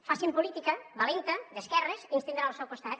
facin política valenta d’esquerres i ens tindran al seu costat